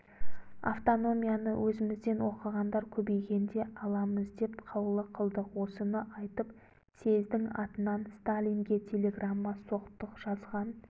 автономияны өзімізден оқығандар көбейгенде аламыз деп қаулы қылдық осыны айтып съездің атынан сталинге телеграмма соқтық жазған